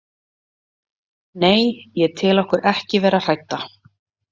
Nei, ég tel okkur ekki vera hrædda.